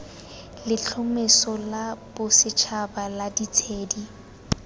letlhomeso la bosetšhaba la ditshedi